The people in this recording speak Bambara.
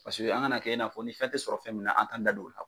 an kana kɛ i n'a fɔ ni fɛn tɛ sɔrɔ fɛn min na an t'an da don o la.